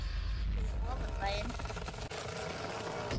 Fyrir ofan bæinn.